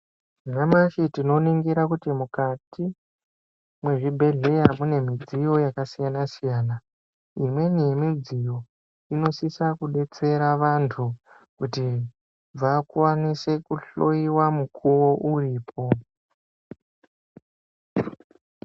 Nyamashi tinoningira kuti mukati mwezvibhedhleya mune midziyo yakasiyana-siyana. Imweni yemidziyo inosisa kubetsera vantu kuti vakwanise kuhloiwa mukuvo uripo.